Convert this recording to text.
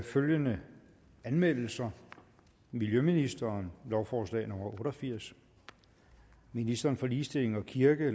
følgende anmeldelser miljøministeren lovforslag nummer otte og firs ministeren for ligestilling og kirke og